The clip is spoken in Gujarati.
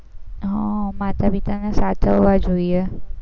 હા માતા પિતાને સાચવવા જોઈએ.